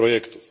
projektów.